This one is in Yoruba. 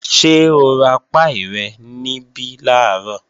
Ṣé o ra páì rẹ̀ níbí làárọ̀?